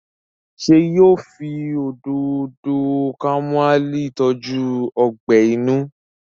ṣe yíò fí Òdòdó kámúmáìlì tọjú ogbè inú?